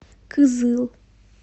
кызыл